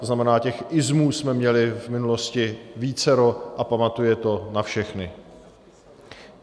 To znamená těch -ismů jsme měli v minulosti vícero a pamatuje to na všechny.